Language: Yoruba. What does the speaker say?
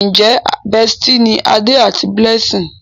Njé bestie ní Ade àti Blessing?